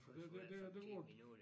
Folk skal vente 5 10 minutter